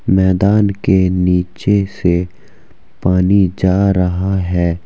मैदान के नीचे से पानी जा रहा है।